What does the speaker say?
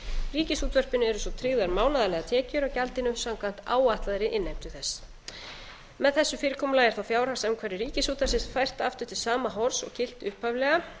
ríkisútvarpinu eru svo tryggðar mánaðarlegar tekjur af gjaldinu samkvæmt áætlaðri innheimtu þess með þessu fyrirkomulagi er fjárhagsumhverfi ríkisútvarpsins fært aftur til sama horfs og gilti upphaflega